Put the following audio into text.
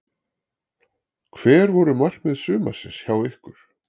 Hver voru markmið sumarsins hjá ykkur?